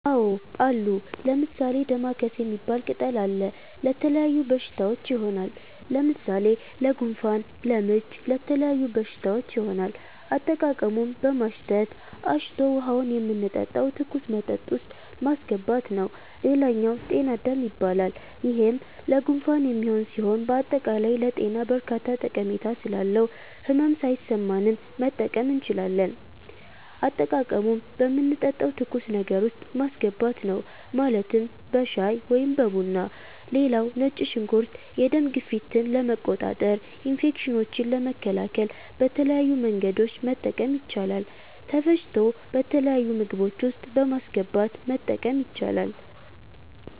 አዎ አሉ። ለምሣሌ፦ ደማከሴ ሚባል ቅጠል አለ። ለተለያዩ በሽታዎች ይሆናል። ለምሣሌ ለጉንፋን፣ ለምች ለተለያዩ በሽታዎች ይሆናል። አጠቃቀሙም በማሽተት፣ አሽቶ ውሀውን የምንጠጣው ትኩስ መጠጥ ውስጥ ማሥገባት ነዉ ሌላኛው ጤና -አዳም ይባላል ይሄም ለጉንፋን የሚሆን ሢሆን በአጠቃላይ ለጤና በርካታ ጠሜታ ስላለው ህመም ሣይሠማንም መጠቀም እንችላለን። አጠቃቀሙም በምንጠጣው ትኩስ ነገር ውስጥ ማስገባት ነው ማለትም በሻይ(በቡና ) ሌላው ነጭ ሽንኩርት የደም ግፊትን ለመቆጣጠር፣ ኢንፌክሽኖችን ለመከላከል በተለያዩ መንገዶች መጠቀም ይቻላል ተፈጭቶ በተለያዩ ምግቦች ውስጥ በማስገባት መጠቀም ይቻላል።